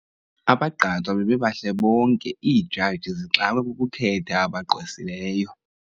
Abagqatswa bebebahle bonke iijaji zixakwe kukukhetha abagqwesileyo.